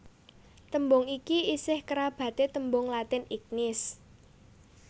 Tembung iki isih kerabaté tembung Latin ignis